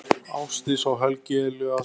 Ásdís og Helgi Elías.